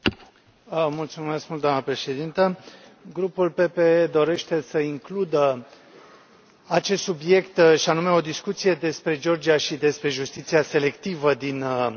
Doamnă președintă, Grupul PPE dorește să includă acest subiect, și anume o discuție despre Georgia și despre justiția selectivă din această țară.